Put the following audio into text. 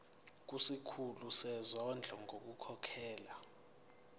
kusikhulu sezondlo ngokukhokhela